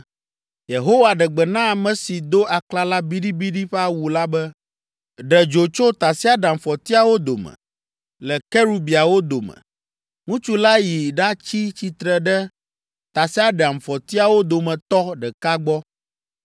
Yehowa ɖe gbe na ame si do aklala biɖibiɖi ƒe awu la be, “Ɖe dzo tso tasiaɖamfɔtiawo dome, le kerubiawo dome.” Ŋutsu la yi ɖatsi tsitre ɖe tasiaɖamfɔtiawo dometɔ ɖeka gbɔ.